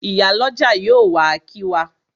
Ìyálọ́jà yóò wá kí wa.